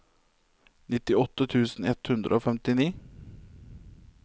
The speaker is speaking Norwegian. nittiåtte tusen ett hundre og femtini